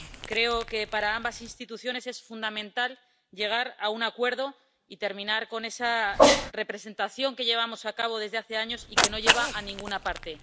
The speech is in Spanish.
Creo que para ambas instituciones es fundamental llegar a un acuerdo y terminar con esa representación que llevamos a cabo desde hace años y que no lleva a ninguna parte.